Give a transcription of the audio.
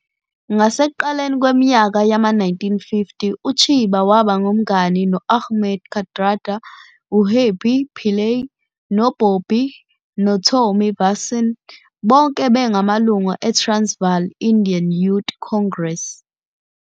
Ngasekuqaleni kweminyaka yama-1950, uChiba waba ngumngani no- Ahmed Kathrada, uHerbie Pillay noBobby noTommy Vassen, bonke bengamalungu eTransvaal Indian Youth Congress, TIYC.